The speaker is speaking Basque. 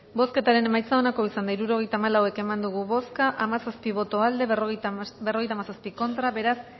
bozketaren emaitza onako izan da hirurogeita hamalau eman dugu bozka hamazazpi boto aldekoa cincuenta y siete contra beraz